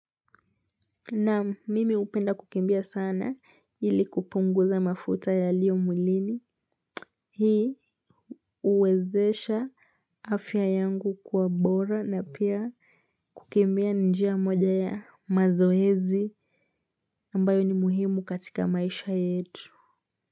Naam, mimi hupenda kukimbia sana ili kupunguza mafuta yaliyo mwilini. Hii huwezesha afya yangu kuwa bora na pia kukimbia ni njia moja ya mazoezi ambayo ni muhimu katika maisha yetu.